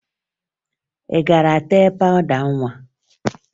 Ị gara tee pawụda nwa?